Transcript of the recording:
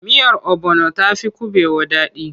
Miyar obono ta fi kuɓewa daɗi.